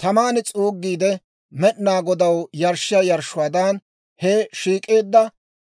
Taman s'uugiide Med'inaa Godaw yarshshiyaa yarshshuwaadan, he shiik'eedda